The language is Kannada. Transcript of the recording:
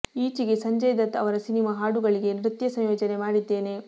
ಈಚೆಗೆ ಸಂಜಯ್ ದತ್ ಅವರ ಸಿನಿಮಾ ಹಾಡುಗಳಿಗೆ ನೃತ್ಯ ಸಂಯೋಜನೆ ಮಾಡಿದ್ದೇನೆ